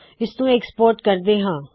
ਇਸਨੂੰ ਐਕਸਪੋਰਟ ਕਰਦੇ ਹਾ